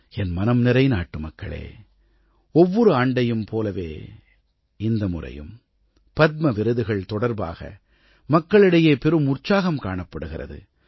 என் மனம்நிறை நாட்டுமக்களே ஒவ்வொரு ஆண்டையும் போலவே இந்த முறையும் பத்ம விருதுகள் தொடர்பாக மக்களிடையே பெரும் உற்சாகம் காணப்படுகிறது